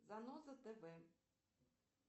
заноза тв